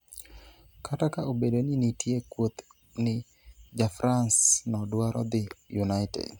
kata ka obedo ni nitie kuoth ni jafrance no dwaro dhi United